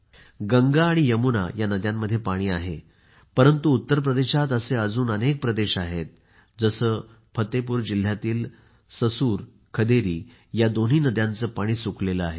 गंगा आणि यमुना नदीमध्ये पाणी आहे परंतु उत्तरप्रदेशात असे अजून अनेक प्रदेश आहेत जसे फतेपूर जिल्ह्यातील ससुर खदेरी या दोन्ही नद्या कोरड्या झाल्या आहेत